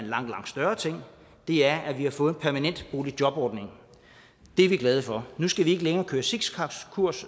langt større ting er at vi har fået en permanent boligjobordning det er vi glade for nu skal vi ikke længere køre zigzagkurs